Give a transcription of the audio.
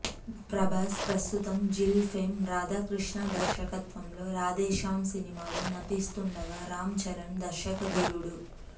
ప్రభాస్ ప్రస్తుతం జిల్ ఫేమ్ రాధాకృష్ణ దర్శకత్వంలో రాధేశ్యామ్ సినిమాలో నటిస్తుండగా రామ్ చరణ్ దర్శకధీరుడు